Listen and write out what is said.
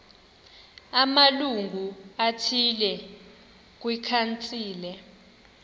amalungu athile kwikhansile